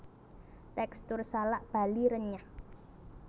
Tekstur salak Bali renyah